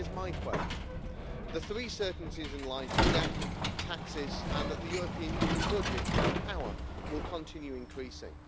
So here's my quote the three certainties in life are death, taxes and that the European Union budget and power will continue increasing.